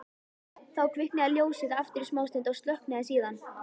Þá kviknaði ljósið aftur í smástund og slökknaði síðan.